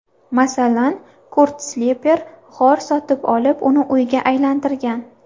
Masalan, Kurt Sliper g‘or sotib olib, uni uyga aylantirgan.